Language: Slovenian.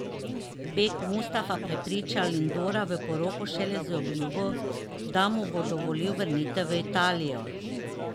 Beg Mustafa prepriča Lindora v poroko šele z obljubo, da mu bo dovolil vrnitev v Italijo.